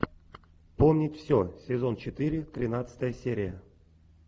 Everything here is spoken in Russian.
помнить все сезон четыре тринадцатая серия